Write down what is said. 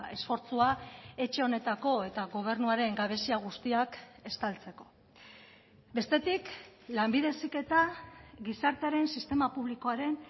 esfortzua etxe honetako eta gobernuaren gabezia guztiak estaltzeko bestetik lanbide heziketa gizartearen sistema publikoaren